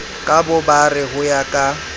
ka bobare ho ya ka